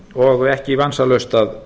og ekki vansalaust að